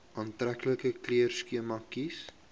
aantreklike kleurskema kies